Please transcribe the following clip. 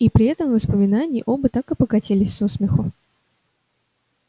и при этом воспоминании оба так и покатились со смеху